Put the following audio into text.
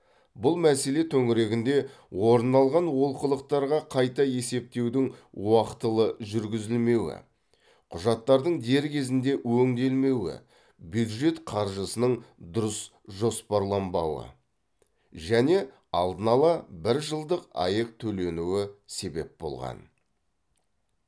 бұл мәселе төңірегінде орын алған олқылықтарға қайта есептеудің уақытылы жүргізілмеуі құжаттардың дер кезінде өңделмеуі бюджет қаржысының дұрыс жоспарланбауы және алдын ала бір жылдық аәк төленуі себеп болған